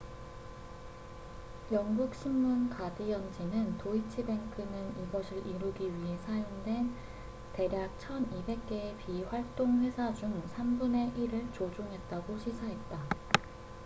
영국 신문 가디언지는 도이치 뱅크는 이것을 이루기 위해 사용된 대략 1200개의 비활동 회사 중 삼 분의 일을 조종했다고 시사했다